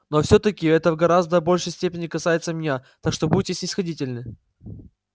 но всё-таки это в гораздо большей степени касается меня так что будьте снисходительны